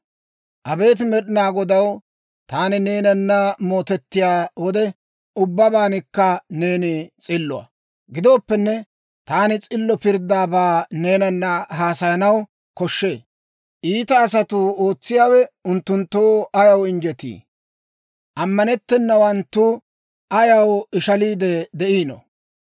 Abeet Med'inaa Godaw, taani neenanna mootettiyaa wode, ubbabankka neeni s'illuwaa. Gidooppenne, taani s'illo pirddaabaa neenanna haasayanaw koshshee. Iita asatuu ootsiyaawe unttunttoo ayaw injjetii? Ammanettennawanttu ayaw ishaliide de'ino?